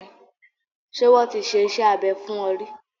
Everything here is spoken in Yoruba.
Ṣé wọ́n ti ṣe iṣẹ́ abẹ fún ọ ríí?